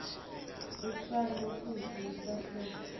ucelwa kutsi utsatsise